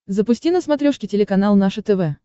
запусти на смотрешке телеканал наше тв